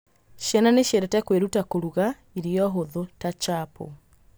Ciana nĩ ciendete kwĩruta kũruga irio hũthũ ta chapo.